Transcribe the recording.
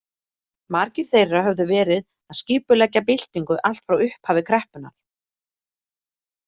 Margir þeirra höfðu verið að skipuleggja byltingu allt frá upphafi kreppunnar.